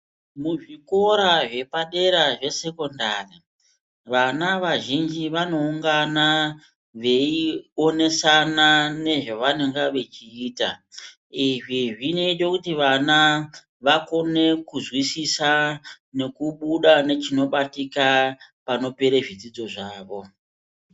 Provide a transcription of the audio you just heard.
Muzvikora zvepadera zvesekondari vana vazhinji vanoungana veionesana nezvevanonga vechiita izvi zvinoite kuti vana vakone kuzwisisa nekubuda nechinobatika panopere zvidzidzo zvavo.